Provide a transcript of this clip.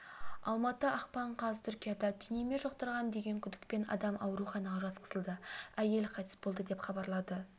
алматы ақпан қаз түркияда түйнеме жұқтырған деген күдікпен адам ауруханаға жатқызылды әйел қайтыс болды деп хабарлады